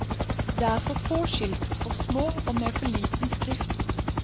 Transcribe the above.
Det er for få skilt, for små, og med for liten skrift.